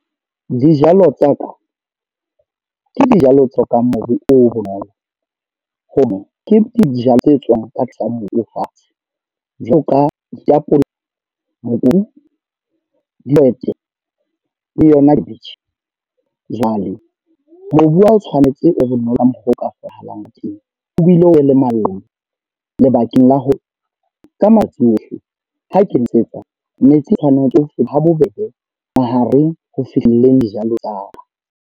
Dijalo tsa ka. Ke dijalo tse ka mobu o bonolo. Ho no ke dijalo tse tswang ka tlasa mobu fatshe. Jwalo ka ditapole, mobu, dihwete, le yona khabetjhe. Jwale mobu wa o tshwanetse o bonolo ka mokgwa o ka tholahalang teng. Ho bile o be le lebakeng la hore ka matsatsi ohle ha ke nosetsa metsi tshwaneng ha bobebe mahareng ho fihlileng dijalo tsa ka.